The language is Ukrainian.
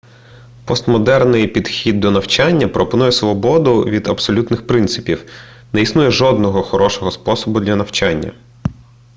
постмодерний підхід до навчання пропонує свободу від абсолютних принципів не існує жодного хорошого способу для навчання